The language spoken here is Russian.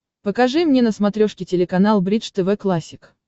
покажи мне на смотрешке телеканал бридж тв классик